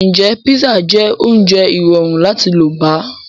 Ǹjẹ́ písà jẹ́ oúnjẹ irọrun láti lọ bá